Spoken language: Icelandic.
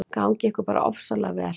Gangi ykkur bara ofsalega vel.